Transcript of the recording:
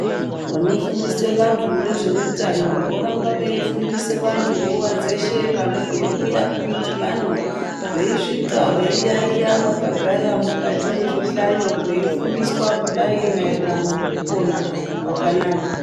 Vanofundise vantu ngezvehutano ,vorambe veyifundisa vantu nguvadzeshe, vantu veyiwuya kumudibano veyiswika veyiyayiya vakagagara mukati mezvihlayo veyifundiswa kudayi mayererano nekupona kwakanaka.